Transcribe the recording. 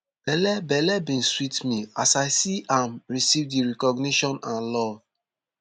belle belle bin sweet me as i see am receive di recognition and love